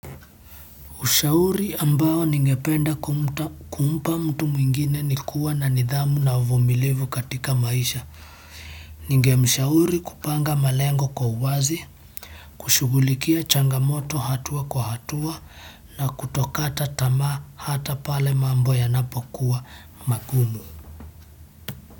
Ushauri ambao ningependa kumpa mtu mwingine ni kuwa na nidhamu na uvumilivu katika maisha. Ningemshauri kupanga malengo kwa uwazi, kushughulikia changamoto hatua kwa hatua na kutokata tamaa hata pale mambo yanapokuwa magumu.